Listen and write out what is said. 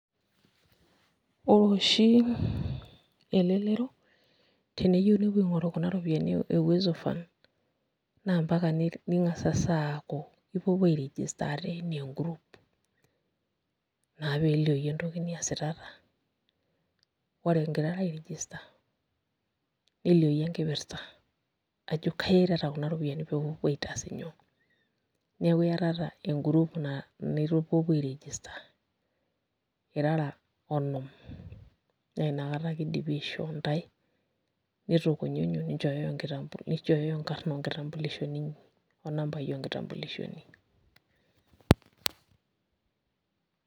Ore oshi elelero teneyieu nepuo aing'oru kuna ropiyiani e Uwezo Fund naa mpaka ning'asing'asa aaku ipuopuo airegister ate enaa e group naa pee elioyu entoki niasitata, ore ingirara airegister neliooyu enkipirta ajo kai iyaitata kunaropiyiani pee ipuopuo aitaas inyoo, neeku iatata engroup naa aipuopuo airegister irara onom naa inakata ake idimi aishoo ntae nitukunyunyu ninchooyoyo nkitambulishoni, ninchooyoyo nkarn onkitambulishoni inyi onmabaai nkitambulishoni.